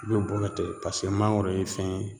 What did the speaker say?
I be bɔ ka tɛ pase mangoro ye fɛn ye